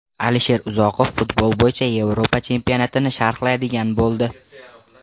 Alisher Uzoqov futbol bo‘yicha Yevropa chempionatini sharhlaydigan bo‘ldi.